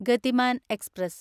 Gatiman express